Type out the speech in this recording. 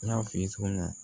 N y'a f'i ye cogo min na